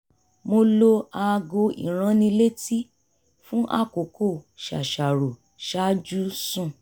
mo lo aago ìránnilétí fún àkókò ṣàṣàrò ṣáájú sùn